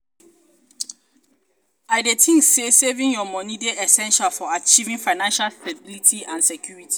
i dey um think say saving your money dey essential for achieving um financial stability and security. um